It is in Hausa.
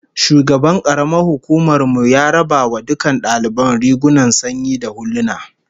Shugaban karamar hukumar mu ya raba wa dukkan daliban rigunan sanyi da huluna